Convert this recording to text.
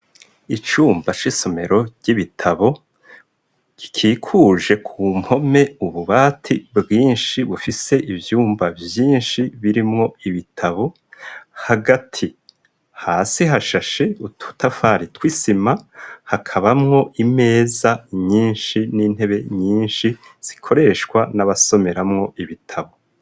Icumba c'isomero ry'ibitabo gikikuje ku mpome ububati bwinshi bufise ivyumba vyinshi birimwo ibitabo hagati hasi hashashe ututafari twisima hakabamwo imeza nyinshi n'intebe nyinshi sikoreshwa n'abasomeramwo ibitabo.